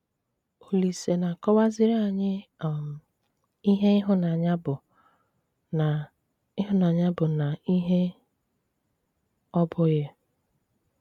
Òlìsè na-àkọ̀wàzìrì ànyị um ìhè ìhụ̀nànyà bụ̀ na ìhụ̀nànyà bụ̀ na ìhè ọ̀ bụ̀ghì.